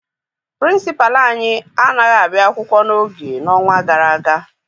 Pịrịnsịpalụ anyị anaghị abịa akwụkwọ n'oge n'ọnwa gara aga.